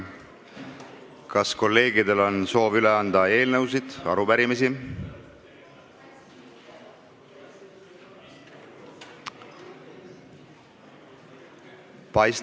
Kas kolleegidel on soovi üle anda eelnõusid või arupärimisi?